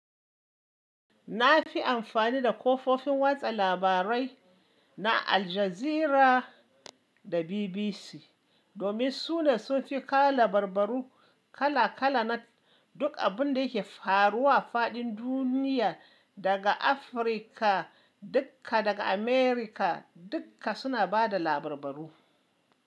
Na fi amfani da kafofin watsa labarai na Aljazeera da BBC domin su ne sun fi ka labarbaru kala kala na duk abin da ke faruwa faɗin duniya, daga Afirka dukka daga America dukka suna bada labarbaru.